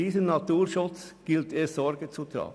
Zu diesem Naturschutz gilt es Sorge zu tragen.